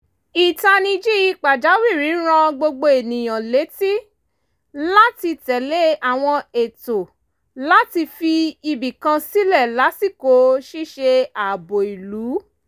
ìtanijí pàjáwìrì rán gbogbo ènìyàn létí láti tẹ̀lé àwọn ètò láti fi ibìkan sílẹ̀ lásìkò ṣíṣe ààbò ìlú